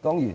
當然，